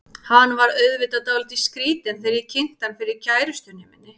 Hann varð auðvitað dálítið skrýtinn þegar ég kynnti hann fyrir kærustunni minni.